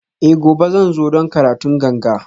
Eh gobe zan zo don karatun ganga